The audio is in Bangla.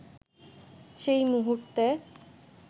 সেই মুহূর্তে